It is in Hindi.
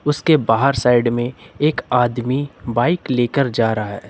उसके बाहर साइड में एक आदमी बाइक लेकर जा रहा है।